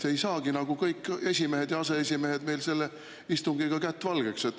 Ei saagi nagu kõik, esimees ja aseesimehed, istungiga kätt valgeks.